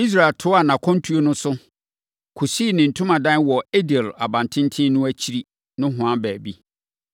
Israel toaa nʼakwantuo no so, kɔsii ne ntomadan wɔ Edir abantenten no akyiri nohoa baabi.